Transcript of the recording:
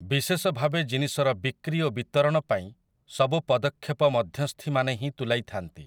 ବିଶେଷ ଭାବେ ଜନିଷର ବିକ୍ରି ଓ ବିତରଣ ପାଇଁ ସବୁ ପଦକ୍ଷେପ ମଧ୍ୟସ୍ଥିମାନେ ହିଁ ତୁଲାଇଥାନ୍ତି ।